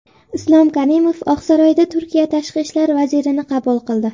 Islom Karimov Oqsaroyda Turkiya tashqi ishlar vazirini qabul qildi.